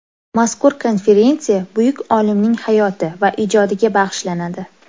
Mazkur konferensiya buyuk olimning hayoti va ijodiga bag‘ishlanadi.